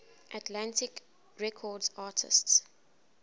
atlantic records artists